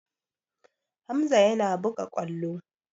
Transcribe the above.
Hamza yana buga ƙwallo.